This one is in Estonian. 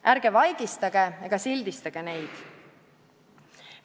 Ärge vaigistage ega sildistage neid!